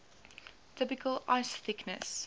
typical ice thickness